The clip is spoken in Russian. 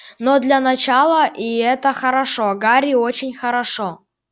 но для начала и это хорошо гарри очень хорошо